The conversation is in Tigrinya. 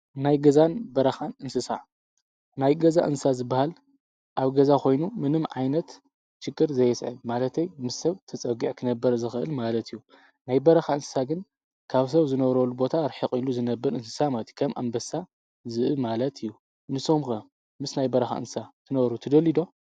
ናይ ገዛን በራኻን እንስሳዕ ናይ ገዛ እንሳ ዝበሃል ኣብ ገዛ ኾይኑ ምንም ዓይነት ሽክር ዘየስአ ማለተይ ምስ ሰብ ተጸጕዐ ኽነበር ዘኽእል ማለት እዩ ናይ በራኻ እንስሳ ግን ካብ ሰብ ዝነረሉ ቦታ ኣርሒቝ ኢሉ ዝነብር እንስሳ ማቲከም ኣንበሳ ዝእ ማለት እዩ ንሶምከ ምስ ናይ በራኻ እንሳ ትነሩ ትደልዶ?